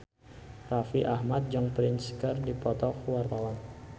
Raffi Ahmad jeung Prince keur dipoto ku wartawan